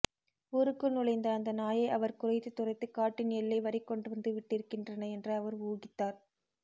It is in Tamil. ஊருக்குள் நுழைந்த அந்த நாயை அவர் குரைத்து துரத்தி காட்டின் எல்லை வரைக் கொண்டுவந்து விட்டிருக்கின்றன என்று அவர் ஊகித்தார்